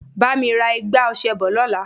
Bá mi ra igbá ọṣẹ bọ̀ lọ́la.